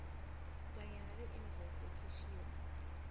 kanye naleinvoice lekhishiwe